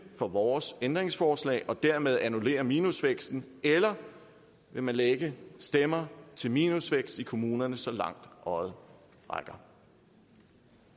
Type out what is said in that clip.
for vores ændringsforslag og dermed annullere minusvæksten eller vil man lægge stemmer til minusvækst i kommunerne så langt øjet rækker